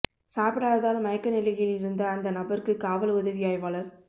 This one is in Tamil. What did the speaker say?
சாப்பிடாததால் மயக்க நிலையில் இருந்த அந்த நபருக்கு காவல் உதவி ஆய்வாளர்